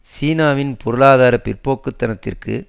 சீனாவின் பொருளாதார பிற்போக்கு தனத்திற்கு